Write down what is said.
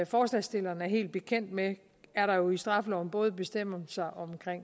forslagsstilleren er helt bekendt med er der jo i straffeloven både bestemmelser om